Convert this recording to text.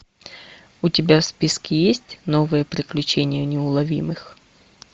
у тебя в списке есть новые приключения неуловимых